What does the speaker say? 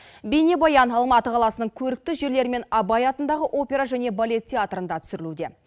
бейнебаян алматы қаласының көрікті жерлері мен абай атындағы опера және балет театрында түсірілуде